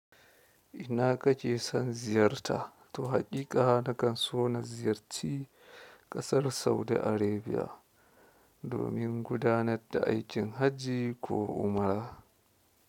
Ina kake son ziyarta? To haƙiƙa nakan so na ziyarci ƙasar Saudi Arabia domin gudanar da aikin hajji ko umara.